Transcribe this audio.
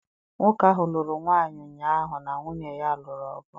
Nwoke ahụ lụrụ nwaanyị ụnyaahụ na nwunye ya lụrụ ọgụ.